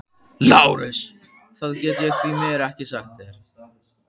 LÁRUS: Það get ég því miður ekki sagt þér.